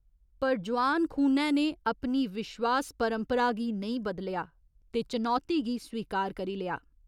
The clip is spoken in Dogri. पर जोआन खूनै ने अपनी विश्वास परपंरा गी नेईं बदलेआ ते चनौती गी स्वीकार करी लेआ।